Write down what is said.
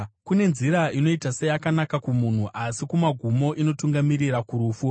Kune nzira inoita seyakanaka kumunhu, asi kumagumo inotungamirira kurufu.